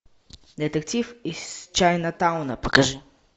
детектив из чайнатауна покажи